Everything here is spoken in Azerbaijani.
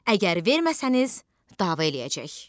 Əgər verməsəniz, dava eləyəcək.